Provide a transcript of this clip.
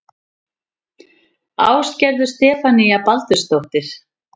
Ásgerður Stefanía Baldursdóttir